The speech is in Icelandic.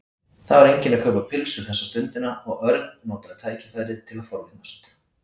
Það var enginn að kaupa pylsur þessa stundina og Örn notaði tækifærið til að forvitnast.